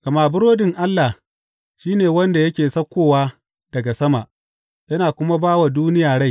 Gama burodin Allah shi ne wanda yake saukowa daga sama, yana kuma ba wa duniya rai.